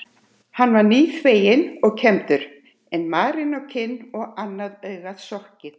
Hann var nýþveginn og kembdur en marinn á kinn og annað augað sokkið.